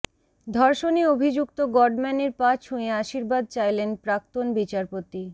ধর্ষণে অভিযুক্ত গডম্যানের পা ছুঁয়ে আশীর্বাদ চাইলেন প্রাক্তন বিচারপতি